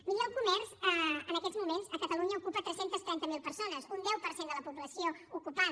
miri el comerç en aquests moments a catalunya ocupa tres cents i trenta miler persones un deu per cent de la població ocupada